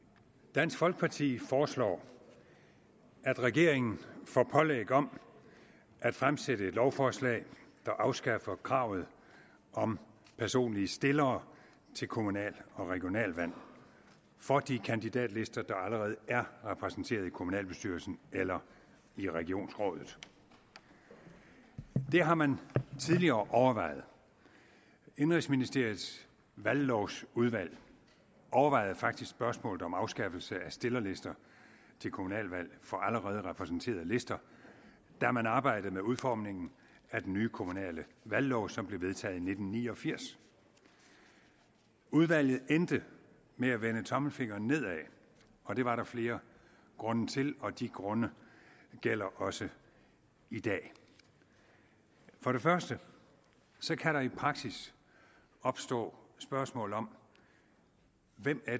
dansk folkeparti foreslår at regeringen får pålæg om at fremsætte lovforslag der afskaffer kravet om personlige stillere til kommunal og regionalvalg for de kandidatlister der allerede er repræsenteret i kommunalbestyrelsen eller i regionsrådet det har man tidligere overvejet indenrigsministeriets valglovsudvalg overvejede faktisk spørgsmålet om afskaffelse af stillerlister til kommunalvalg for allerede repræsenterede lister da man arbejdede med udformningen af den nye kommunale valglov som blev vedtaget i nitten ni og firs udvalget endte med at vende tommelfingeren nedad og det var der flere grunde til og de grunde gælder også i dag for det første kan der i praksis opstå spørgsmål om hvem